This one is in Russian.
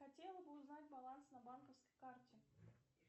хотела бы узнать баланс на банковской карте